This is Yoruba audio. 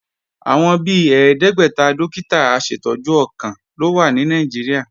Àwọn bi ẹ̀ẹ́dẹ́gbẹ́ta dókítà aṣètọ́jú ọkàn ló wà ní Nàìjíríà